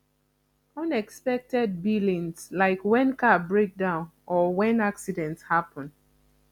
unexpected billings like when car breakdown or when accident happen